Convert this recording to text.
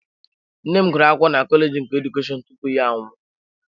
Nne m gụrụ akwụkwọ na kọleji nke Edukeshọn tupu ya anwụọ.